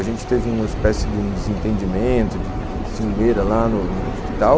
A gente teve uma espécie de um desentendimento, de ciumeira lá no Hospital.